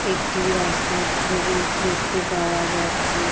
একটি রাস্তার ছবি দেখতে পাওয়া যাচ্ছে ।